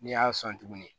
N'i y'a sɔn tuguni